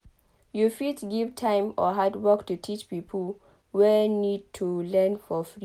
you fit give time or handwork to teach pipo wey need to learn for free